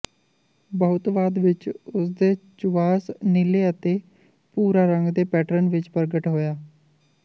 ਬਹੁਤ ਬਾਅਦ ਵਿਚ ਉਸ ਨੇ ਚੁਵਾਸ਼ ਨੀਲੇ ਅਤੇ ਭੂਰਾ ਰੰਗ ਦੇ ਪੈਟਰਨ ਵਿੱਚ ਪ੍ਰਗਟ ਹੋਇਆ